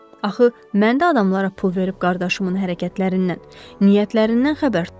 Axı mən də adamlara pul verib qardaşımın hərəkətlərindən, niyyətlərindən xəbər tuturam.